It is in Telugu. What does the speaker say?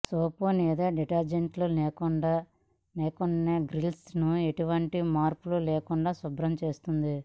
సోపు లేదా డిటర్జెంట్స్ లేకుండానే గ్రిల్స్ ను ఎటువంటి మార్కు లేకుండా శుభ్రం చేస్తుంది